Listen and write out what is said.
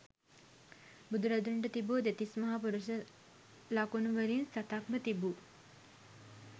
බුදුරදුන්ට තිබූ දෙතිස් මහා පුරිස ලකුණු වලින් සතක්ම තිබූ